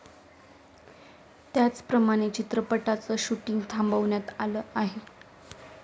त्याचप्रमाणे चित्रपटांचं शूटिंग थांबवण्यात आलं आहे.